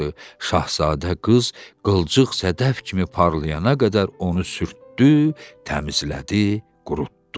Şahzadə qız qılçıq sədəf kimi parlayana qədər onu sürtdü, təmizlədi, qurutdu.